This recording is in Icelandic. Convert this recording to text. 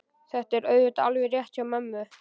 Þetta er auðvitað alveg rétt hjá mömmu.